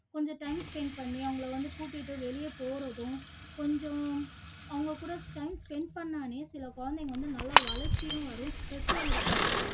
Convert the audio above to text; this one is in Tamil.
கொஞ்சம் time spend பண்ணி அவங்களை வந்து கூட்டிட்டு வெளிய போறதும் கொஞ்சம் அவங்க கூட time spend பண்ணாலே குழந்தைங்க வந்து நல்லா வளர்ச்சியும் வரும் stress உம் இருக்காது